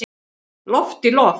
Loft í loft